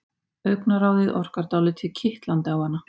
Augnaráðið orkar dálítið kitlandi á hana.